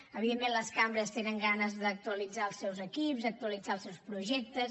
evidentment les cambres tenen ganes d’actualitzar els seus equips d’actualitzar els seus projectes